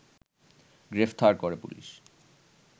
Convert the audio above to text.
গ্রেফতার করে পুলিশ